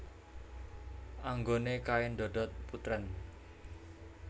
Anggone kain dodot putrèn